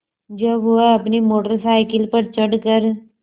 जब वह अपनी मोटर साइकिल पर चढ़ कर